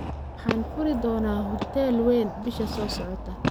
Waxaan furi doonaa hudheel ween bisha soo socota